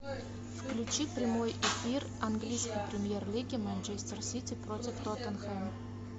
включи прямой эфир английской премьер лиги манчестер сити против тоттенхэм